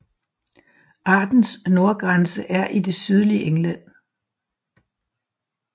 Artens nordgrænse er i det sydlige England